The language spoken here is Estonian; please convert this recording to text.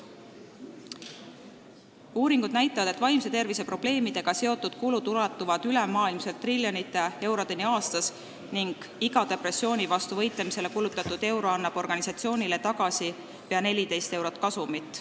Ka näitavad uuringud, et vaimse tervise probleemidega seotud kulud ulatuvad ülemaailmselt triljonite eurodeni aastas ning iga depressiooni vastu võitlemiseks kulutatud euro annab tagasi pea 14 eurot kasumit.